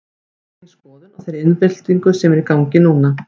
Hver er þín skoðun á þeirri iðnbyltingu sem er í gangi núna?